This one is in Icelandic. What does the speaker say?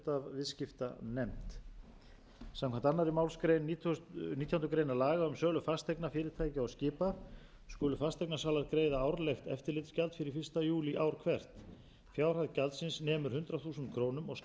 er flutt af viðskiptanefnd samkvæmt annarri málsgrein nítjánda grein laga um sölu fasteigna fyrirtækja og skipa skulu fasteignasalar greiða árlegt eftirlitsgjald fyrir fyrsta júlí ár hvert fjárhæð gjaldsins nemur hundrað þúsund krónur og skal standa straum af kostnaði við störf eftirlitsnefndar félags fasteignasala frá því